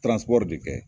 de kɛ